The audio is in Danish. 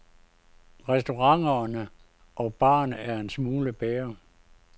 Restauranterne og barerne er en smule bedre.